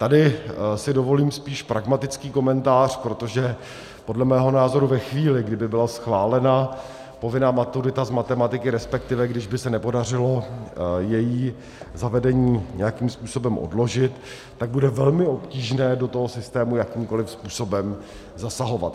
Tady si dovolím spíš pragmatický komentář, protože podle mého názoru ve chvíli, kdy by byla schválena povinná maturita z matematiky, respektive kdyby se nepodařilo její zavedení nějakým způsobem odložit, tak bude velmi obtížné do toho systému jakýmkoliv způsobem zasahovat.